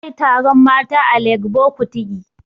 Gobe za a yi taron mata a Legbo Kutigi